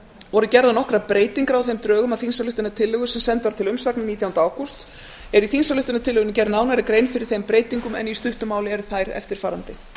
voru gerðar nokkrar breytingar á þeim drögum að þingsályktunartillögu sem send var til umsagnar nítjánda ágúst er í þingsályktunartillögunni gerð nánari grein fyrir þeim breytingum en í stuttu máli eru þær eftirfarandi